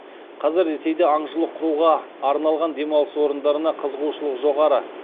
қазір ресейде аңшылық құруға арналған демалыс орындарына қызығушылық жоғары